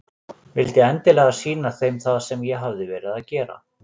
Vildi endilega sýna þeim það sem ég hafði verið að gera.